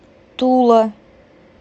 тула